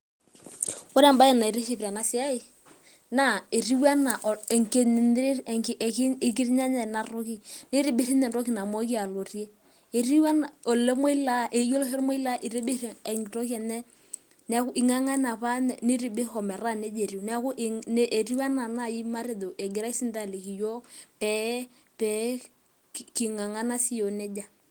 Ore embae naitirish tena siai, naa ekirnyanye ena toki. neitibir ninye entoki namooki alotie. Ore ninye olmoilaa eingangane apa ometaa neija etiu, neaku anaa naaji matejo egirai ajoki iyiok pee kingangana sii iyiok neija.